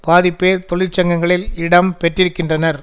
பாதிப்பேர் தொழிற்சங்கங்களில் இடம் பெற்றிருக்கின்றனர்